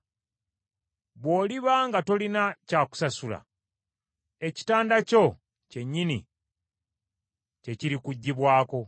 Bw’oliba nga tolina kya kusasula ekitanda kyo kyennyini kye kirikuggyibwako.